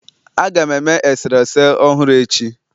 Aga m eme eserese ọhụrụ echi